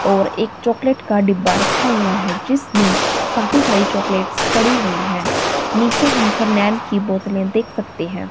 और एक चॉकलेट का डिब्बा रखा हुआ है जिसमे काफी सारी चॉकलेट्स पड़ी हुई हैं नीचे हम की बोतलें देख सकते हैं।